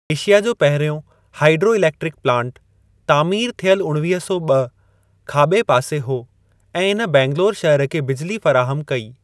Asia जो पहिरियों hydro electric plant (तामीर थियल उणवीह सौ ॿ) खाॿे पासे हो ऐं इन बैंगलौर शहर खे बिजिली फ़राहमु कई।